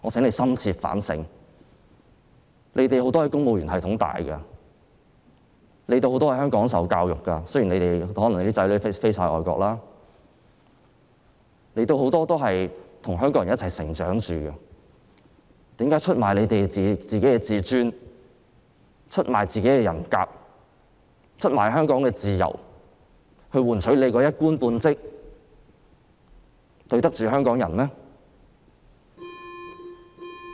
你們很多人在公務員系統成長，很多人在香港接受教育——雖然可能你們有些人的子女在外國讀書——你們很多人都是與香港人一起成長，為何要出賣你們的自尊、人格和香港的自由，以換取你的一官半職，這樣對得起香港人嗎？